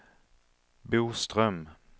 Boström